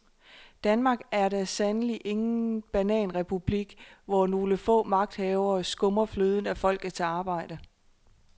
Danmark er da sandelig ingen bananrepublik, hvor nogle få magthavere skummer fløden af folkets arbejde.